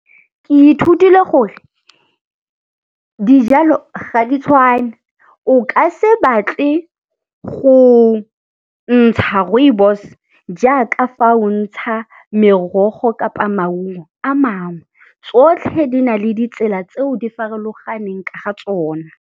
Ke ithutile gore dijalo ga di tshwane. O ka se batle go ntsha rooibos jaaka fa o ntsha merogo kapa maungo a mangwe. Tsotlhe di na le ditsela tseo di farologaneng ka ga tsona.